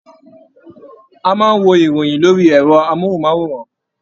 A máa n wo ìròyìn lórí ẹrọ mohunmaworan.